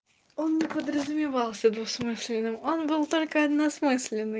он не подразумевался двусмысленным он был только односмысленный